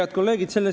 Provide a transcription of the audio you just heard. Head kolleegid!